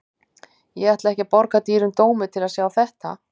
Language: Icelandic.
Ég ætla ekki að borga dýrum dómi til að sjá þetta.